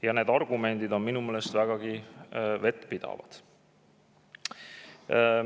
Ja need argumendid on minu meelest vägagi vettpidavad.